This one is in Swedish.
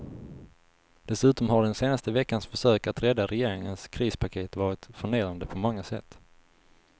Dessutom har den senaste veckans försök att rädda regeringens krispaket varit förnedrande på många sätt.